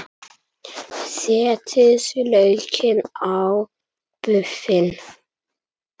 Setjið laukinn á buffin.